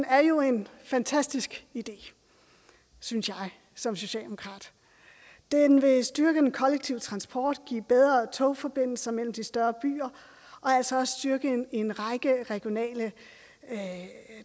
er jo en fantastisk idé synes jeg som socialdemokrat den vil styrke den kollektive transport give bedre togforbindelser mellem de større byer og altså også styrke en række regionale